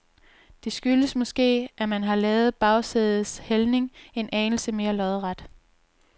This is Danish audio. Det skyldes måske, at man har lavet bagsædets hældning en anelse mere lodret.